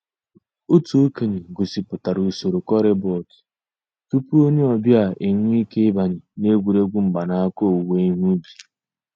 Ọ̀tù òkènye gọ̀sìpùtárà ǔsòrò corribot túpù ònyè ọ̀ bịa enwèè ìké ị̀bànyè n'ègwè́ré́gwụ̀ mgbànàkà òwùwé ìhè ǔbì.